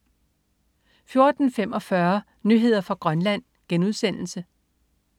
14.45 Nyheder fra Grønland*